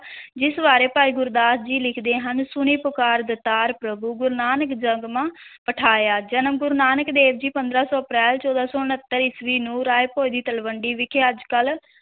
ਜਿਸ ਬਾਰੇ ਭਾਈ ਗੁਰਦਾਸ ਜੀ ਲਿਖਦੇ ਹਨ, ਸੁਣੀ ਪੁਕਾਰ ਦਾਤਾਰ ਪ੍ਰਭੂ, ਗੁਰੂ ਨਾਨਕ ਜਗ ਮਾਹਿ ਪਠਾਇਆ, ਜਨਮ, ਗੁਰੂ ਨਾਨਕ ਦੇਵ ਜੀ ਪੰਦਰਾਂ ਸੌ ਅਪ੍ਰੈਲ ਚੌਦਾਂ ਸੌ ਉਣਤਰ ਈਸਵੀ ਨੂੰ ਰਾਇ ਭੋਇ ਦੀ ਤਲਵੰਡੀ ਵਿਖੇ, ਅੱਜ ਕੱਲ੍ਹ